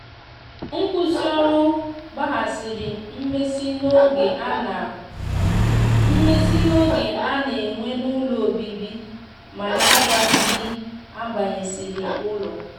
nkwụsi ọrụ gbahasiri mmesi n'oge ana mmesi n'oge ana n'enwe n'ụlọ ọbibi mana agwaghi ndi agbasinyere ụlọ.